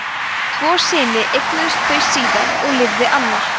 tvo syni eignuðust þau síðar og lifði annar